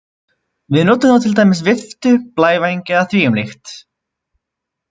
Við notum þá til dæmis viftu, blævæng eða því um líkt.